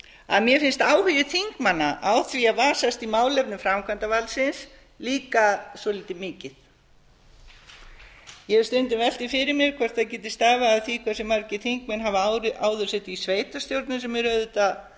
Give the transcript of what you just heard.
að mér finnst áhugi þingmanna á því að vasast í málefnum framkvæmdarvaldsins líka svolítið mikill ég hef stundum velt því fyrir mér hvort það geti stafað af því hversu margir þingmenn hafa áður setið í sveitarstjórnum sem er auðvitað